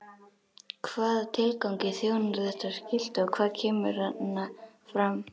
Hvaða tilgangi þjónar þetta skilti og hvað kemur þarna fram?